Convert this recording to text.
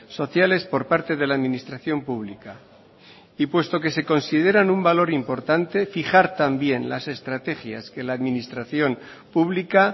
sociales por parte de la administración pública y puesto que se consideran un valor importante fijar también las estrategias que la administración pública